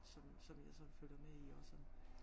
Som som jeg sådan følger med i også